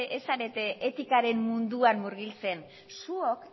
ez zarete etikaren munduan murgiltzen zuok